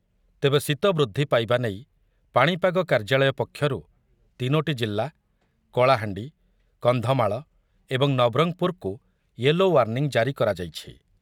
ତେବେ ଶୀତ ବୃଦ୍ଧି ପାଇବା ନେଇ ପାଣିପାଗ କାର୍ଯ୍ୟାଳୟ ପକ୍ଷରୁ ତିନୋଟି ଜିଲ୍ଲା କଳାହାଣ୍ଡି, କନ୍ଧମାଳ ଏବଂ ନବରଙ୍ଗପୁରକୁ ୟେଲୋ ୱାର୍ଣ୍ଣିଂ ଜାରି କରାଯାଇଛି ।